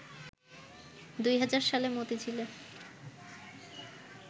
২০০০ সালে মতিঝিলে